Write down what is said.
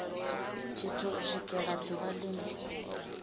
tshithu u swikela ḓuvha line